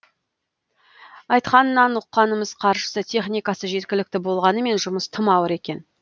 айтқанынан ұққанымыз қаржысы техникасы жеткілікті болғанымен жұмыс тым ауыр екен